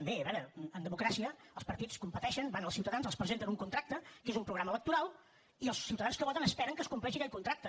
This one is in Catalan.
a veure en democràcia els partits competeixen van als ciutadans els presenten un contracte que és un programa electoral i els ciutadans que voten esperen que es compleixi aquell contracte